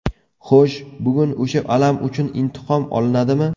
Xo‘sh, bugun o‘sha alam uchun intiqom olinadimi?